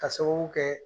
Ka sababu kɛ